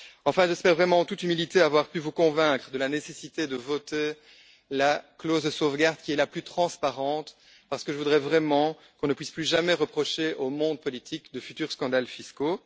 Enfin, j'espère vraiment, en toute humilité, avoir pu vous convaincre de la nécessité de voter la clause de sauvegarde, qui est la plus transparente, parce que je voudrais vraiment qu'on ne puisse plus jamais reprocher au monde politique de futurs scandales fiscaux.